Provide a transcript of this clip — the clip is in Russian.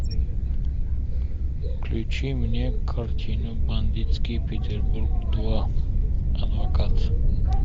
включи мне картину бандитский петербург два адвокат